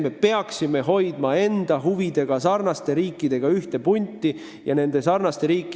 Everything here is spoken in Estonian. Me peaksime hoidma ühte punti riikidega, kellel on samasugused huvid kui meil.